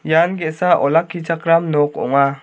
ian ge·sa olakkichakram nok ong·a.